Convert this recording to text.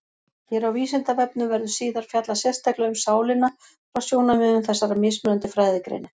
Hér á Vísindavefnum verður síðar fjallað sérstaklega um sálina frá sjónarmiðum þessara mismunandi fræðigreina.